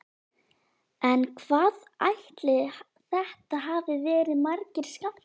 En hvað ætli þetta hafi verið margir skammtar?